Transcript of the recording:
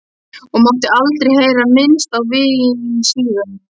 Og mátti aldrei heyra minnst á vín síðan.